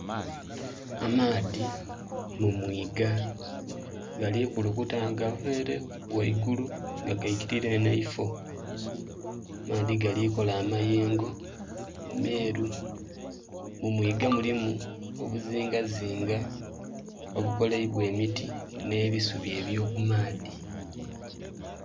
Amaadhi mu mwiga gali kulukuta nga gava ere ghaigulu nga gaikilira eno eifo, amaadhi galikola amayengo meru, mu mwiga mulimu obuzingazinga obukoleibwa emiti n'ebisubi ebyo kumaadhi